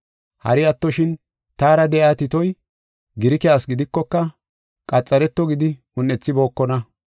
Hari attoshin, taara de7iya Titoy Girike asi gidikoka, qaxareto gidi un7ethibookona.